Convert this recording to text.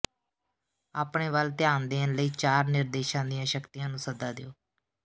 ਆਪਣੇ ਵੱਲ ਧਿਆਨ ਦੇਣ ਲਈ ਚਾਰ ਨਿਰਦੇਸ਼ਾਂ ਦੀਆਂ ਸ਼ਕਤੀਆਂ ਨੂੰ ਸੱਦਾ ਦਿਓ